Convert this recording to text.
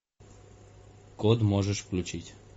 код можешь включить